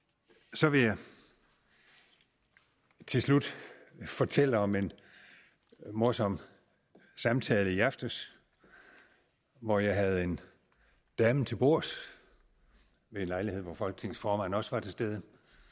så vil jeg til slut fortælle om en morsom samtale i aftes hvor jeg havde en dame til bords ved en lejlighed hvor folketingets formand også var til stede